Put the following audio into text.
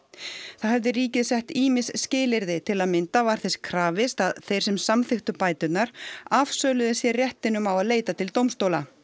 þá hefði ríkið sett ýmis skilyrði til að mynda var þess krafist að þeir sem samþykktu bæturnar afsöluðu sér réttinum á að leita til dómstóla